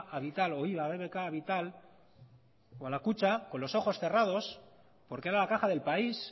a vital o iba a bbk vital o a la kutxa con los ojos cerrados porque era la caja del país